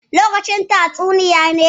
Lokacin tatsuniya ne?